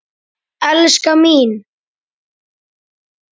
Elskan mín!